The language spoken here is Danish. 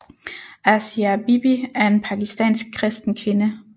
Asia Bibi er en pakistansk kristen kvinde